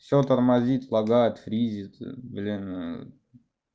всё тормозит лагает фризит блин